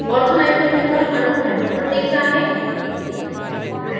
orthonitrophenol अणु panel पर दिखता है